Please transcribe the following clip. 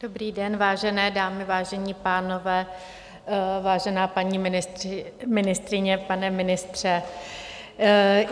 Dobrý den, vážené dámy, vážení pánové, vážená paní ministryně, pane ministře.